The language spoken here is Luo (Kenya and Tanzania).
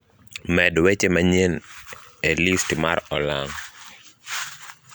med weche manyie e list mar olang`